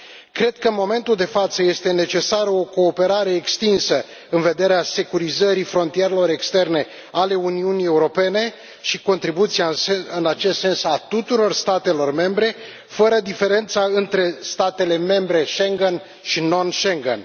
Cred că în momentul de față este necesară o cooperare extinsă în vederea securizării frontierelor externe ale Uniunii Europene și contribuția în acest sens a tuturor statelor membre, fără diferența între statele membre Schengen și non Schengen.